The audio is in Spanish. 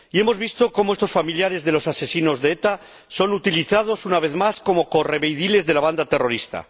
Y hemos visto cómo estos familiares de los asesinos de ETA son utilizados, una vez más, como correveidiles de la banda terrorista.